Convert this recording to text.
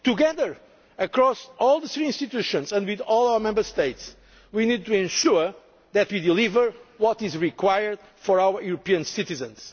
Together, across all our three institutions and with all our Member States, we need to ensure that we deliver what is required for our citizens.